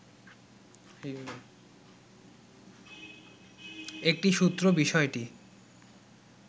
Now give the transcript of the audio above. একটি সূত্র বিষয়টি